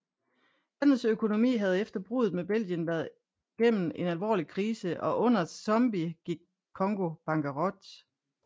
Landets økonomi havde efter bruddet med Belgien været gennem en alvorlig krise og under Tshombe gik Congo bankerot